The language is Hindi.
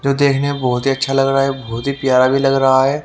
जो देखने मे बहोत ही अच्छा लग रहा है बहोत ही प्यारा भी लग रहा है।